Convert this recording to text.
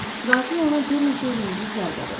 Qatil ona bir neçə ölümcül zərbə vurub.